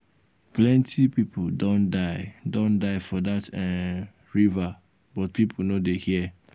plenty people don die don die for dat um river but people no dey hear.